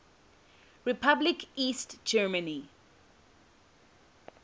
republic east germany